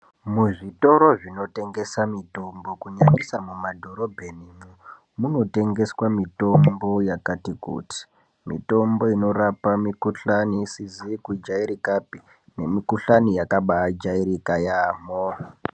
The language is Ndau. Muzvitoro zvinotengesa mitombo kunyanyisa mumadhorobheni, munotengeswe mitombo yakati kuti. Mitombo inorapa mikhuhlani isizi kujairikapi nemikhuhlane yakabaajairika yaamho.